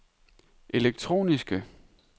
elektroniske